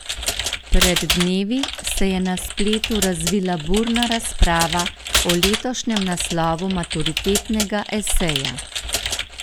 Pred dnevi se je na spletu razvila burna razprava o letošnjem naslovu maturitetnega eseja.